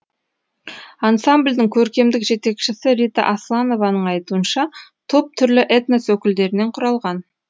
ансамбльдің көркемдік жетекшісі рита асланованың айтуынша топ түрлі этнос өкілдерінен құралған